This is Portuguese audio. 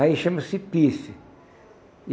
Aí chama-se pife.